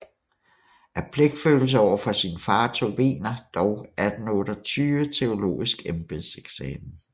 Af pligtfølelse over for sin far tog Wegener dog 1828 teologisk embedseksamen